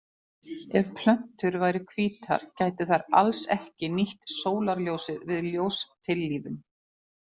Ef plöntur væru hvítar gætu þær alls ekki nýtt sólarljósið við ljóstillífun.